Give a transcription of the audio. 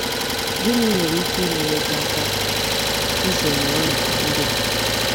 Gịnị nwere ike inyere gị aka izere ọnyà ndị a?